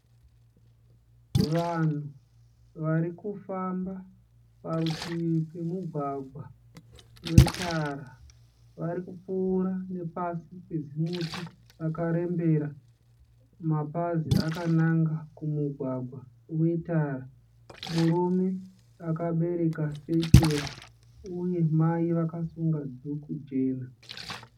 Vanhu varikufamba parutivi pemugwagwa wetara. Varikupfuura nepasi pezimuti rakarembera mapazi akananga kumugwagwa wetara. Murume akabereka sechura uye mai vakasunga dhuku jena.